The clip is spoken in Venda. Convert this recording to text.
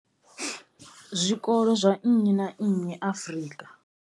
Zwikolo zwa nnyi na nnyi Afrika.